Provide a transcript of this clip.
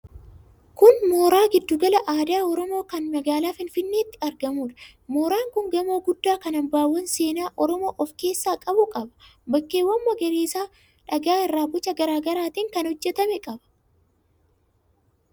Kun mooraa Giddugala Aadaa Oromoo kan magaalaa Finfinneetti argamuudha. Mooraan kun gamoo guddaa kan hambaawwan seenaa Oromoo of keessaa qabu qaba. Bakkeewwan magariisa, dhagaa irraa boca garaa garaatiin kan hojjetame qaba.